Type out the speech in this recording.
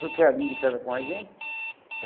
Foi criadinho de casa com a gente.